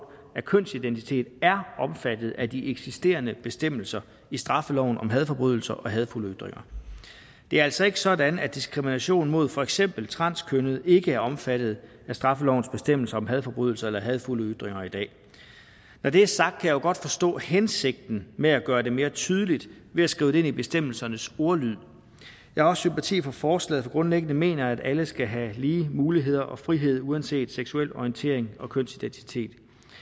af kønsidentitet er omfattet af de eksisterende bestemmelser i straffeloven om hadforbrydelser og hadefulde ytringer det er altså ikke sådan at diskrimination mod for eksempel transkønnede ikke er omfattet af straffelovens bestemmelser om hadforbrydelser og hadefulde ytringer i dag når det er sagt kan jeg jo godt forstå hensigten med at gøre det mere tydeligt ved at skrive det ind i bestemmelsernes ordlyd jeg har også sympati for forslaget for grundlæggende mener jeg at alle skal have lige muligheder og frihed uanset seksuel orientering og kønsidentitet